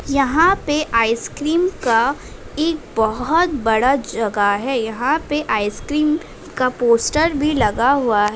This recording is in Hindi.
यहाँ पे आइसक्रीम का एक बोहोत बड़ा जगह है। यहाँ पे आइसक्रीम का पोस्टर भी लगा हुआ --